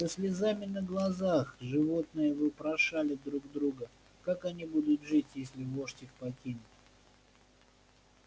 со слезами на глазах животные вопрошали друг друга как они будут жить если вождь их покинет